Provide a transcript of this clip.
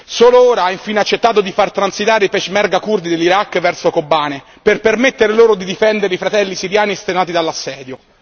Solo ora ha infine accettato di far transitare i peshmerga curdi dell'Iraq verso Kobane per permettere loro di difendere i fratelli siriani estenuati dall'assedio.